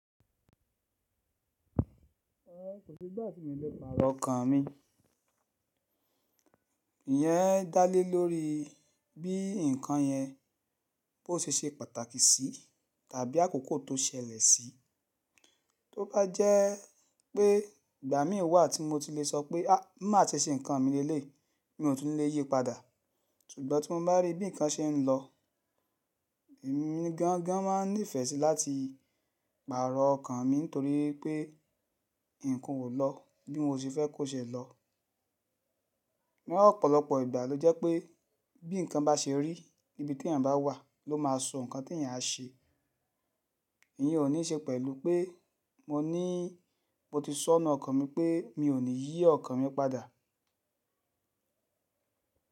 Rárá, kò sí ìgbà tí mo lè pàrọ̀ ọkàn mi. Ìyẹn dá lé lórí bí ǹkan yẹn bó ṣe ṣe pàtàkì sí tàbí àkókò tó ṣẹlẹ̀ sí. Tó bá jẹ́ pé ìgbà mí wà tí mo tilẹ̀ sọ pé má ṣe ṣe ǹnkan mi léléyi, bí mo ti ń lè yípadà, ṣùgbọ́n tí mo bá rí bí ǹnkan ṣe ń lọ, èmi gan gan máa nífẹ̀ẹ́ sí láti pàrọ̀ ọkàn mi nítorí pé ǹnkan o lọ bí mo se fẹ́ kó ṣe lọ. Ni ọ̀pọ̀lọpọ̀ ìgbà ló jẹ́ pé bí ǹnkan bá ṣe rí níbi tí èeyàn bá wà ló máa so nǹkan tí èeyàn á ṣe. Èyí ò ní ṣe pẹ̀lú pé mo ní mo ti sọ́nà n nu ọkàn mi pé mi ò ní yí ọkàn mi padà.